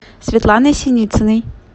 светланой синицыной